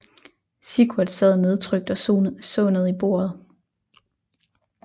Sigurd sad nedtrykt og så ned i bordet